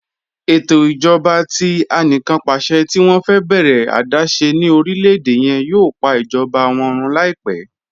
Ẹtọ ijọba tí àníkànpàṣẹ̀ tì wọn fẹ bẹ̀rẹ adaṣẹ̀ ni orílẹ̀-èdè yẹn yòò pà ijọba wọn rún laipẹ̀.